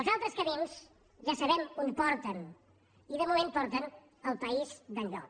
els altres camins ja sabem on porten i de moment porten al país d’enlloc